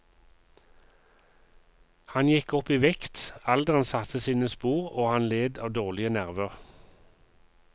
Han gikk opp i vekt, alderen satte sine spor og han led av dårlige nerver.